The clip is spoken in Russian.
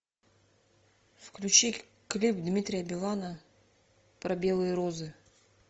включи клип дмитрия билана про белые розы